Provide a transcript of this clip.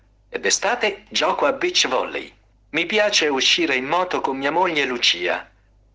доклад